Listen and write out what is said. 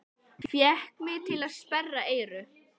Fékk mig til að sperra eyru.